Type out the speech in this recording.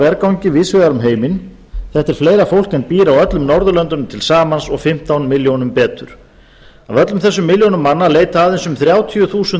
vergangi víðs vegar um heiminn þetta er fleira fól en býr á öllum norðurlöndunum til samans og fimmtán milljónir betur af öllum þessum milljónum manna leita aðeins um þrjátíu þúsund